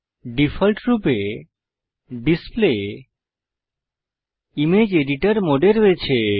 ডিফল্টরূপে display image editor মোডে রয়েছে